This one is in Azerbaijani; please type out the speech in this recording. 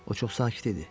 O çox sakit idi.